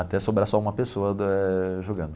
Até sobrar só uma pessoa da...jogando.